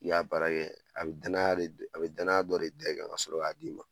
I y'a baara kɛ a bɛ danaya de do a bɛ danaya dɔ de da i kan kasɔrɔ k'a d'i ma